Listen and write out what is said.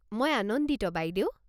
মই আনন্দিত বাইদেউ।